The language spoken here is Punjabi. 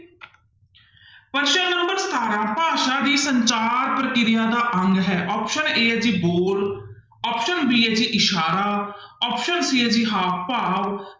ਪ੍ਰਸ਼ਨ number ਸਤਾਰਾਂ ਭਾਸ਼ਾ ਦੀ ਸੰਚਾਰ ਪ੍ਰਕਿਰਿਆ ਦਾ ਅੰਗ ਹੈ option a ਹੈ ਜੀ ਬੋਲ option b ਹੈ ਜੀ ਇਸ਼ਾਰਾ option c ਹੈ ਜੀ ਹਾਵ ਭਾਵ,